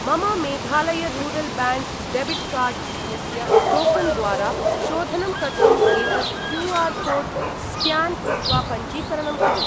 मम Meghalaya rural bank debit card इत्यस्य token द्वारा शोधनं कर्तुम् एतत् क्यू.आर्.कोड् स्क्यान् कृत्वा पञ्जीकरणं कुरु।